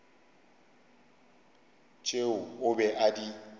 tšeo o be a di